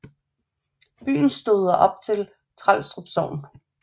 Byen stoder op til Trelstrup Sogn